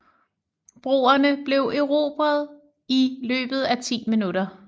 Broerne blev erobret i løbet af 10 minutter